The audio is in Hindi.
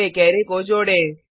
अब एक अराय को जोडें